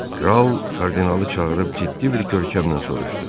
Kral kardinalı çağırıb ciddi bir kökəmlə soruşdu: